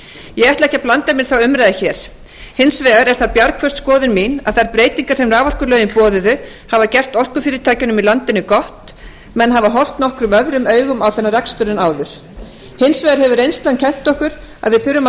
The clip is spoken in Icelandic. ég ætla ekki að blanda mér í þá umræðu hér hins vegar er það bjargföst skoðun mín að þær breytingar sem raforkulögin boðuðu hafa gert orkufyrirtækjunum í landinu gott menn hafa horft nokkuð öðrum augum á þennan rekstur en áður hins vegar hefur reynslan kennt okkur að við þurfum að